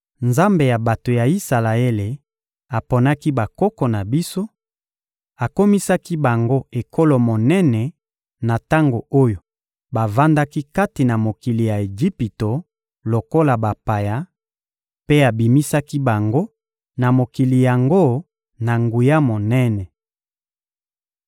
Nzambe ya bato ya Isalaele aponaki bakoko na biso, akomisaki bango ekolo monene na tango oyo bavandaki kati na mokili ya Ejipito lokola bapaya, mpe abimisaki bango na mokili yango na nguya monene.